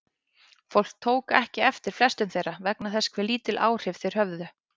Fólk tók ekki eftir flestum þeirra vegna þess hversu lítil áhrif þeir höfðu.